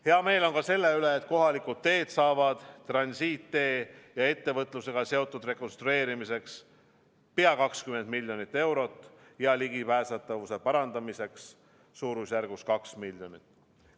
Hea meel on selle üle, et kohalikud teed saavad transiitteede ja ettevõtlusega seotud rekonstrueerimiseks pea 20 miljonit eurot ja ligipääsetavuse parandamiseks suurusjärgus 2 miljonit.